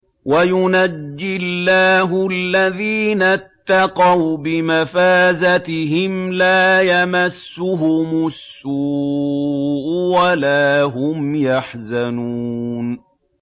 وَيُنَجِّي اللَّهُ الَّذِينَ اتَّقَوْا بِمَفَازَتِهِمْ لَا يَمَسُّهُمُ السُّوءُ وَلَا هُمْ يَحْزَنُونَ